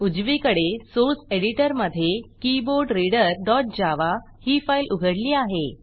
उजवीकडे सोर्स एडिटरमधे KeyboardReaderjavaकीबोर्डरीडरजावा ही फाईल उघडली आहे